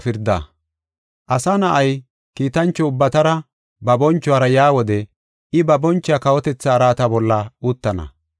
“Asa Na7ay, kiitancho ubbatara, ba bonchuwara yaa wode I ba boncho kawotetha araata bolla uttana.